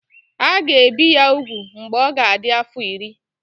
A ga-ebi ya ugwu mgbe ọ ga-adị afọ iri.